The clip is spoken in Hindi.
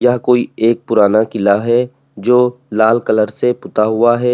यह कोई एक पुराना किला है जो लाल कलर से पुता हुआ है।